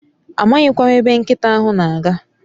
Amaghi kwa m ebe nkita ahu n'aga